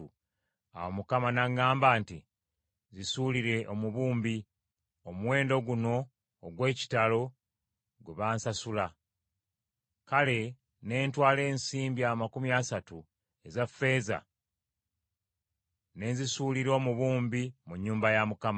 Awo Mukama n’aŋŋamba nti, “Zisuulire omubumbi,” omuwendo guno ogw’ekitalo gwe bansasula! Kale ne ntwala ensimbi amakumi asatu eza ffeeza ne nzisuulira omubumbi mu nnyumba ya Mukama .